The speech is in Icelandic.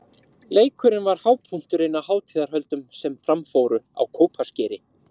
Leikurinn var hápunkturinn á hátíðarhöldum sem fram fóru á Kópaskeri.